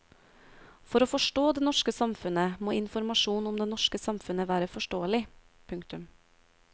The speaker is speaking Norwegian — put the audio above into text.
For å forstå det norske samfunnet må informasjon om det norske samfunnet være forståelig. punktum